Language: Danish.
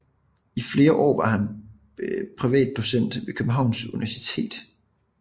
I flere år var han privat docent ved Københavns Universitet